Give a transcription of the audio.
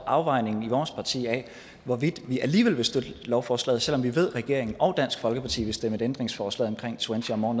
afvejningen i vores parti af hvorvidt vi alligevel vil støtte lovforslaget selv om vi ved at regeringen og dansk folkeparti vil stemme et ændringsforslag omkring twenty or more